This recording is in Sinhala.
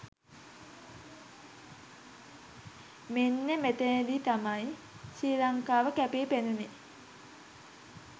මෙන්න මෙතනදී තමයි ශ්‍රී ලංකාව කැපී පෙනුණේ.